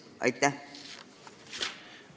Aitäh!